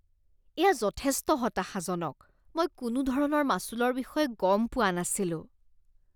এয়া যথেষ্ট হতাশাজনক। মই কোনোধৰণৰ মাচুলৰ বিষয়ে গম পোৱা নাছিলোঁ।